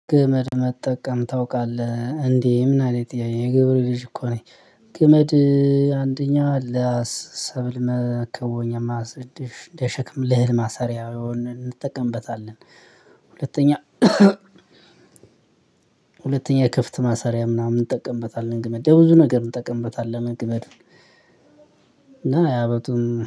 ገመድ መጠቀም ታውቃለህ እንዴ? ምን አይነት ጥያቄ የ ገበሬ ልጅ እኮ ነኝ። ገመድ አንደኛ ለሰብል መከወኛ ለሸክም ለህል ማሰሪያውን እንጠቀምበታለን። ሁለተኛ ክፍት ማሰሪያ ምናምን እንጠቀምበታለን ገመድ ለ ብዙ ነገር እንጠቀምበታለን ገመድ እና የአበቱን